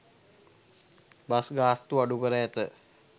Bus ගාස්තු අඩු කර ඇත.